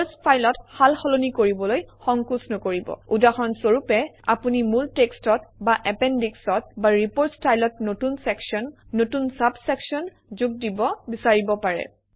চৰ্চ ফাইলত সাল সলনি কৰিবলৈ সংকাচ নকৰিব উদাহৰণ স্বৰূপে আপুনি মূল টেক্সটত বা এপেনডিক্সত বা ৰিপৰ্ট ষ্টাইলত নতুন চেকশ্যন নতুন চাব চেকশ্যন যোগ দিব বিচাৰিব পাৰে